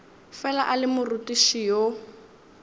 fela a le morutiši yo